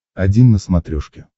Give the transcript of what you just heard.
один на смотрешке